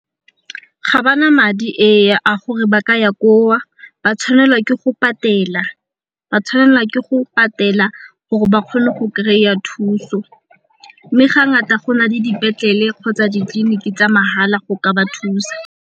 Ga ba na madi a gore ba ka ya koo ba tshwanelwa ke go patela gore ba kgone go kry-a thuso mme ga ngata go na le dipetlele kgotsa ditleliniki tsa mahala go ka ba thusa.